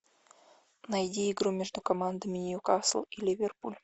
найди игру между командами ньюкасл и ливерпуль